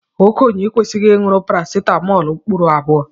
Okenye ekwesighi inukari paracetamóólú mkpụrụ abụọ.